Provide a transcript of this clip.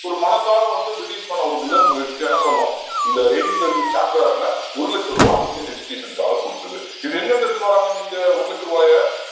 ஒரு மனசார வந்து பிரிட்டிஷ் பண்ண ஒரு முதல் முயற்சியா என்ன சொல்லலாம் இந்த eighteen thirteen charter act ல ஒரு லட்ச ரூபாய் இந்தியன் education க்காக குடுத்தது இது எங்க இருந்து எடுத்துட்டு வர்றாங்க இந்த ஒரு லட்ச ரூபாயை